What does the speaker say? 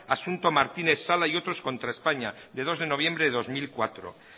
asunto martínez sala y otros contra españa de dos de noviembre de dos mil cuatro